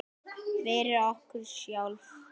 Fyrir okkur sjálf.